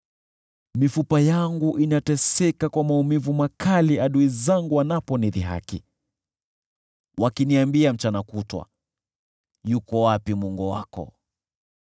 Mifupa yangu inateseka kwa maumivu makali adui zangu wanaponidhihaki, wakiniambia mchana kutwa, “Yuko wapi Mungu wako?”